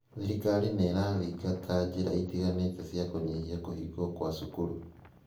Thirikari nĩ ĩrathingata njĩra itiganĩte cia kũnyihia kũhingwo kwa cukuru.